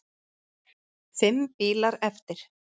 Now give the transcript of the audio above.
Fimm bílar eftir.